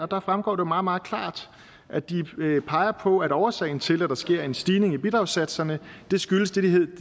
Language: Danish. der fremgår det meget meget klart at de peger på at årsagen til at der sker en stigning i bidragssatserne